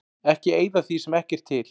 Ekki eyða því sem ekki er til.